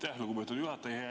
Aitäh, lugupeetud juhataja!